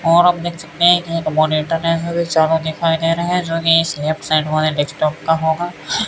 और हम देख सकते हैं एक मॉनिटर है चारों दिखाई दे रहे हैं जो एब्सेंट होगा एक जो कम होगा --